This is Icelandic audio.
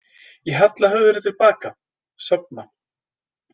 Ég halla höfðinu til baka, sofna.